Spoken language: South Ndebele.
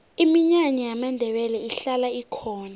iminyanya yamandebele ihlala ikhona